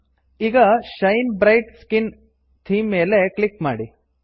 ಲ್ಟ್ಪಾಸೆಗ್ಟ್ ಈಗ shine bright skin shine bright skin theme ಮೇಲೆ click ಮಾಡಿ